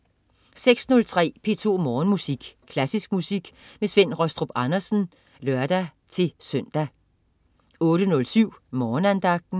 06.03 P2 Morgenmusik. Klassisk musik med Svend Rastrup Andersen (lør-søn) 08.07 Morgenandagten